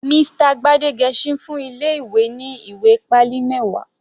Mr Gbadegesin fún ilé ìwé ní ìwé pálí mẹwa.